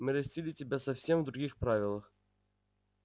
мы растили тебя совсем в других правилах